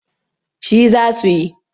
Shi za su yi.